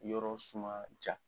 Yɔrɔ suma diya